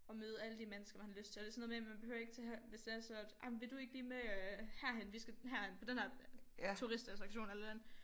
Og møde alle de mennesker man har lyst til og det sådan noget med man behøver ikke tage her hvis det er så at ej men vil du ikke lige med øh herhen vi skal hen på den her turistattraktion eller et eller andet